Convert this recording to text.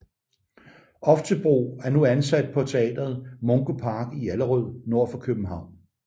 Oftebro er nu ansat på teatret Mungo Park i Allerød nord for København